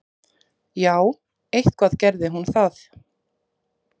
Já, eitthvað gerði hún það.